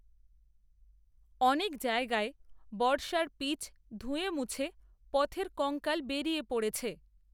অনেক জায়গায় বর্ষায় পিচ, ধুয়েমুছে, পথের কঙ্কাল বেরিয়ে পড়েছে